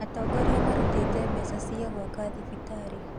Atongoria marutire mbeca cia gĩaka thibitarĩ